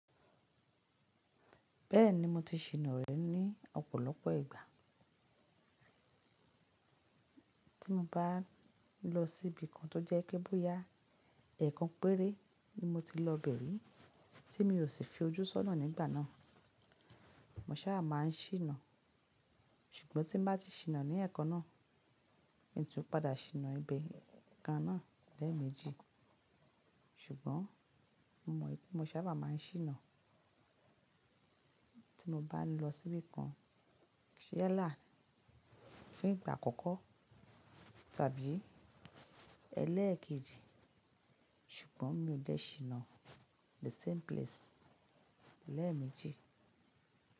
Bẹ́ẹ̀ni mo ti ṣìnà rẹ̀ ní ọ̀pọ̀lọpọ̀ ìgbà. Tí mo bá ń lọ síbi kan tó jẹ́ pé bóyá ẹ̀kan péré ni mo ti lọ bẹ̀rẹ̀, tí mi ò sì fi ojú sọ́nà nígbà náà. Mo sábà máa ń ṣìnà, ṣùgbọ́n tí mo bá ti ṣìnà ní ẹ̀kan náà, ń tún padà ṣìnà ibi kan náà lẹ́ẹ̀mejì. Ṣùgbọ́n mo mọ̀ pé mo sábà máa ń ṣìnà tí mo bá ń lọ síbi kan, yalá fún ìgbà àkọ́kọ́ tàbí ẹlẹ́ẹ̀kejì, ṣùgbọ́n mi ò lẹ́ ṣìnà the same place lẹ́ẹ̀mejì.